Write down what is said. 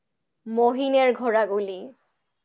মহীনের ঘোড়াগুলি